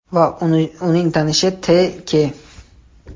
va uning tanishi T.K.